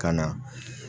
Ka na